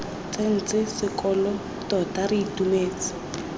tsentse sekolo tota re itumetse